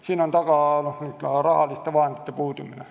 Selle taga on raha puudumine.